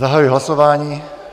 Zahajuji hlasování.